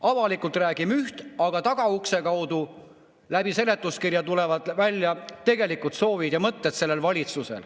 Avalikult räägime üht, aga tagaukse kaudu, seletuskirja kaudu tulevad välja selle valitsuse tegelikud soovid ja mõtted.